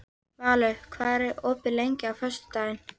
Valur, hvað er opið lengi á föstudaginn?